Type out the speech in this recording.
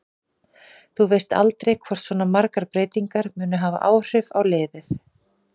Þú veist aldrei hvort svona margar breytingar munu hafa áhrif á liðið.